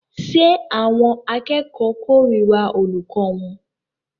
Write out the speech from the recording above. Ṣé àwọn akẹ́kọ̀ọ́ kórìíra olùkọ́ wọn?